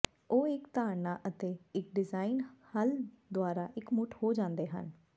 ਉਹ ਇੱਕ ਧਾਰਨਾ ਅਤੇ ਇੱਕ ਡਿਜ਼ਾਇਨ ਹੱਲ ਦੁਆਰਾ ਇਕਮੁੱਠ ਹੋ ਜਾਂਦੇ ਹਨ